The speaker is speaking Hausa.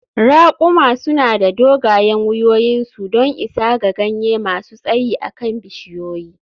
Ra`kumi suna da dogayen wuyoyinsu don isa ga ganye masu tsayi a kan bishiyoyi.